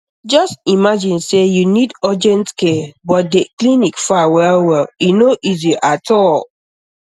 just imagine say you need urgent care but the clinic far well well e no easy at all